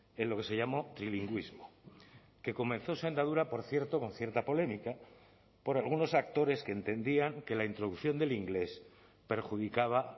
en lo que se llamó trilingüismo que comenzó su andadura por cierto con cierta polémica por algunos actores que entendían que la introducción del inglés perjudicaba